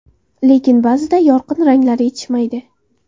Lekin, ba’zida yorqin ranglar yetishmaydi.